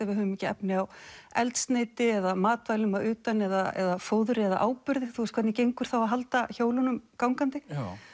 við höfum ekki efni á eldsneyti eða matvælum að utan eða fóðri eða áburði þú veist hvernig gengur þá að halda hjólunum gangandi